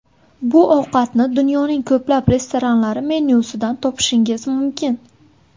Bu ovqatni dunyoning ko‘plab restoranlari menyusidan topishingiz mumkin.